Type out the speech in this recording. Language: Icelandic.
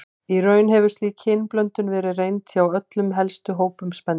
Í raun hefur slík kynblöndun verið reynd hjá öllum helstu hópum spendýra.